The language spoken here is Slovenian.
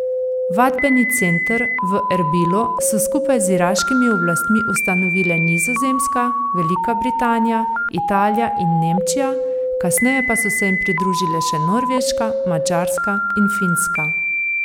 Vadbeni center v Erbilu so skupaj z iraškimi oblastmi ustanovile Nizozemska, Velika Britanija, Italija in Nemčija, kasneje pa so se jim pridružile še Norveška, Madžarska in Finska.